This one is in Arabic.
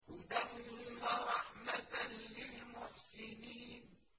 هُدًى وَرَحْمَةً لِّلْمُحْسِنِينَ